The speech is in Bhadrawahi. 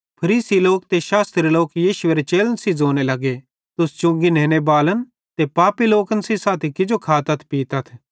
फरीसी लोक ते शास्त्री यीशुएरे चेलन सेइं ज़ोने लग्गे तुस चुंगी नेनेबालन ते पैपन सेइं साथी किजो खातथ पीतथ